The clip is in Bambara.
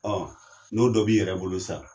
n'o dɔ b'i yɛrɛ bolo sisan.